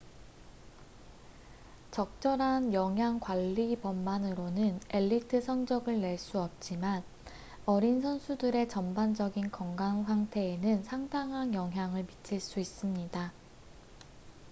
적절한 영양 관리법만으로는 엘리트 성적을 낼 수 없지만 어린 선수들의 전반적인 건강 상태에는 상당한 영향을 미칠 수 있습니다